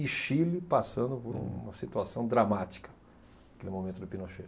E Chile, passando por uma situação dramática, aquele momento do Pinochet.